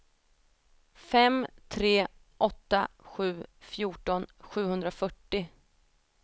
fem tre åtta sju fjorton sjuhundrafyrtio